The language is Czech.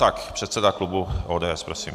Tak předseda klubu ODS, prosím.